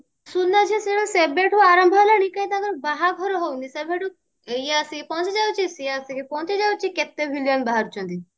ସୁନାଝିଅ serial ସେଇଟା ସେବେଠୁ ଆରମ୍ଭ ହେଲାଣି କିନ୍ତୁ ତାଙ୍କର ବାହାଘର ହଉନି ସେବେଠୁ ଇଏ ଆସିକି ପହଞ୍ଚି ଯାଉଛି ସିଏ ଆସିକି ପହଞ୍ଚି ଯାଉଛି କେତେ villain ବାହାରୁଛନ୍ତି